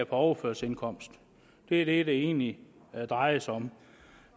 overførselsindkomst det er det det egentlig drejer sig om